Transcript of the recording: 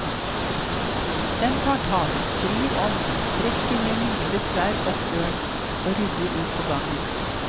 Den tar tak, vrir om, trekker med mye besvær opp døren og ruller ut på gangen.